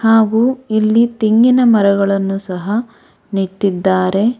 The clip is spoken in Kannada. ಹಾಗೂ ಇಲ್ಲಿ ತೆಂಗಿನ ಮರಗಳನ್ನು ಸಹ ನೆಟ್ಟಿದ್ದಾರೆ.